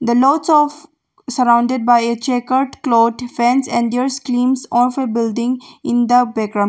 The lots of surrounded by a checkerd cloth and endures and their schemes of a building in the background.